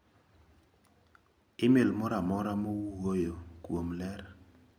imel moro amora mawuoyo kuom ler.